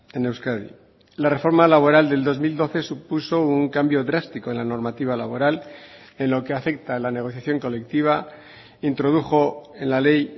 en euskadi la reforma laboral del dos mil doce supuso un cambio drástico en la normativa laboral en lo que afecta a la negociación colectiva introdujo en la ley